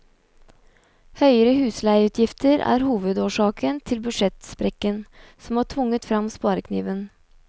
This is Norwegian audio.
Høyere husleieutgifter er hovedårsaken til budsjettsprekken som har tvunget frem sparekniven.